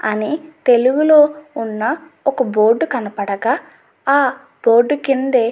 అని తెలుగులో ఉన్న ఒక బోర్డు కనపడగా ఆ బోర్డు కింద --